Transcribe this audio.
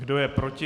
Kdo je proti?